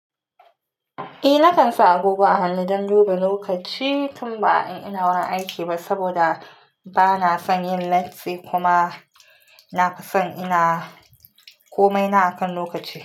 Eh, na kan sa agogo a hannu don duba lokaci tun ba an ina wuren aiki ba saboda ba na son yin latti kuma na fi son ina komai na akan lokaci.